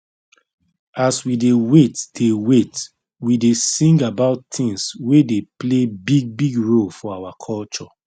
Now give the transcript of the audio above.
as we dey wait dey wait we dey sing about things wey dey play big big role for our culture